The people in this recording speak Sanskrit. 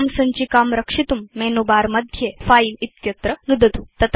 इमां सञ्चिकां रक्षितुं मेनुबारमध्ये फिले इत्यत्र नुदतु